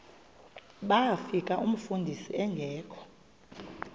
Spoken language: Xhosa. bafika umfundisi engekho